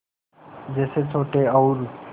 जैसे छोटे और